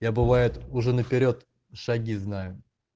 я бывает уже наперёд шаги знаю